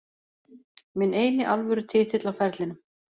Minn eini alvöru titill á ferlinum.